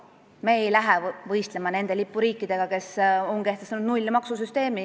Me ei lähe võistlema nende lipuriikidega, kes on kehtestanud nullmaksumäära.